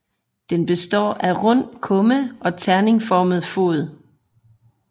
Den består af rund kumme og terningeformet fod